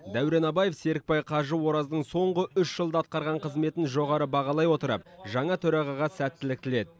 дәурен абаев серікбай қажы ораздың соңғы үш жылда атқарған қызметін жоғары бағалай отырып жаңа төрағаға сәттілік тіледі